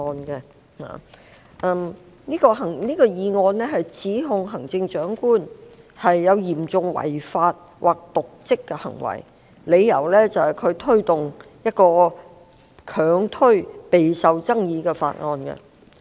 這項議案指控行政長官有嚴重違法或瀆職行為，理由是她強推一項備受爭議的法案。